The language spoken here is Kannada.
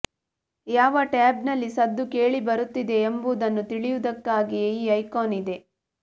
ಯಾವ ಟ್ಯಾಬ್ನಲ್ಲಿ ಸದ್ದು ಕೇಳಿಬರುತ್ತಿದೆ ಎಂಬುದನ್ನು ತಿಳಿಯುವುದಕ್ಕಾಗಿಯೇ ಈ ಐಕಾನ್ ಇದೆ